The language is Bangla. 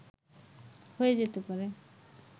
হয়ে যেতে পারে